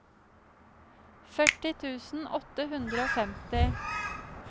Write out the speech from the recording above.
førti tusen åtte hundre og femti